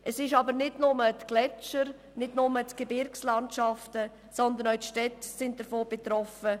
Es sind aber nicht nur die Gletscher und die Gebirgslandschaften, sondern auch die Städte sind von den Hitzeextremen betroffen.